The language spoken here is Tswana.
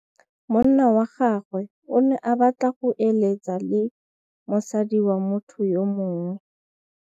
Monna wa gagwe o ne a batla go êlêtsa le mosadi wa motho yo mongwe.